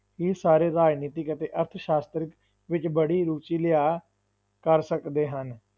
ਇਹ ਸਾਰੇ ਰਾਜਨੀਤਿਕ ਅਤੇ ਅਰਥ ਸ਼ਾਸਤਰ ਵਿੱਚ ਬੜੀ ਰੂਚੀ ਲਿਆ ਕਰ ਸਕਦੇ ਹਨ।